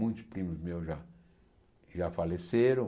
Muitos primos meus já já faleceram.